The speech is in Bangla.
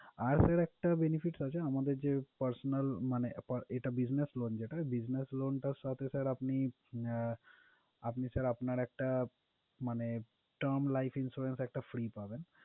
আর sir একটা benefits আছে, আমাদের যে personal মানে পা~এটা business loan যেটা, business loan টার সাথে sir আপনি আহ আপনি sir আপনার একটা মানে term life insurance একটা free পাবেন।